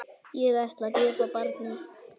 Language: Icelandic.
Ég ætla að gefa barnið.